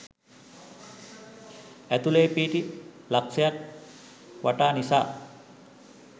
ඇතුලේ පිහිටි ලක්ෂයයක් වටා නිසා